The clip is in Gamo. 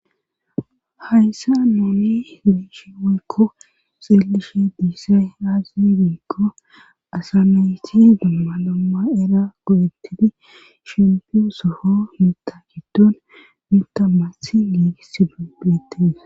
Hayssan nuuni be7ishe woykko xeelishe dizay aaze giikko asa nayti dumma dumma era go7ettidi soho biita giddonmitta massi giigisi beettes